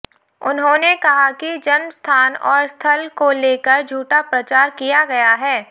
उन्होंने कहा कि जन्म स्थान और स्थल को लेकर झूठा प्रचार किया गया है